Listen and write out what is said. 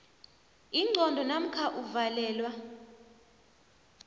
ingqondo namkha uvalelwa